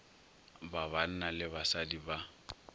ba banna le basadi ba